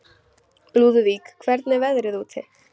Lúðvík, hvernig er veðrið úti?